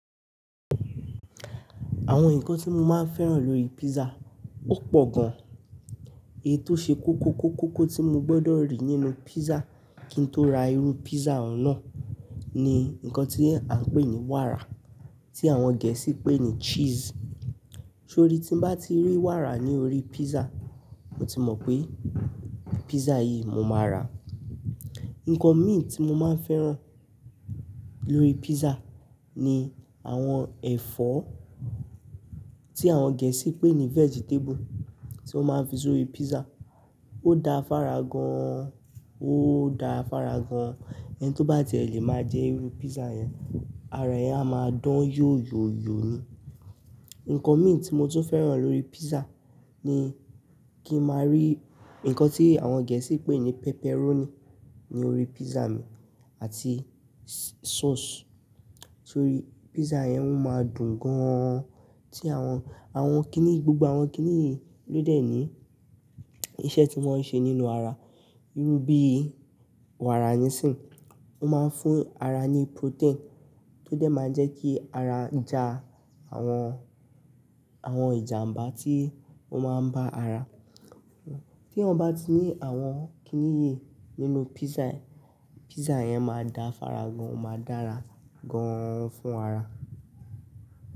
Àwọn nǹkan tí mo máa ń fẹ́ràn lórí pizza ó pọ̀ gan. Èyí tó ṣe kókó kókó tí mo gbọdọ̀ rí nínú pizza kí n tó ra iru pizza nàà ni nǹkan tí a ń pè ní wàrà, tí àwọn Gẹ̀ẹ́sì ń pè ní cheese. Torí tí mo bá ti rí wàrà ní orí pizza, mo ti mọ̀ pé pizza yìí mo máa ràa. Nǹkan mí tí mo máa ń fẹ́ràn lórí pizza ni àwọn ẹ̀fọ́ tí àwọn Gẹ̀ẹ́sì ń pè ní vegetable tí wọ́n máa fi sórí pizza. Ó da fára gan, ó da fára gan. Ẹni tí ó bá jẹ̀ lé máa jẹ irun pizza yẹn, ara yẹn á máa dán yóóyóóyó ni. Nǹkan mí tí mo tún fẹ́ràn lórí pizza ni kí n máa rí nǹkan tí àwọn Gẹ̀ẹ́sì ń pè ní pepperoni ní orí pizza mi àti sauce. Torí pizza yẹn ó máa dùn gan-an. Tí àwọn, àwọn kiní yìí, gbogbo àwọn kiní yìí ló dẹ̀ ní iṣẹ́ tí wọ́n ṣe nínú ara. Irú bí wàrà nísìń, ó máa ń fún ara ní protein tó dẹ̀ máa ń jẹ́ kí ara ja àwọn, àwọn ìjàmbá tí ó máa ń bá ara. T'éèyàn bá ti ní àwọn kiní yìí nínú pizza, pizza yẹn máa da fára gan, ó máa dára gan-an fún ara.